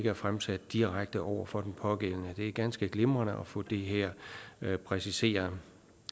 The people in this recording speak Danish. er fremsat direkte over for den pågældende det er ganske glimrende at få det her præciseret